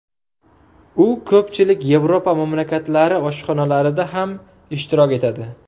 U ko‘pchilik Yevropa mamlakatlari oshxonalarida ham ishtirok etadi.